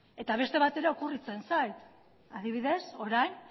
eta beste bat ere okurritzen zait adibidez orain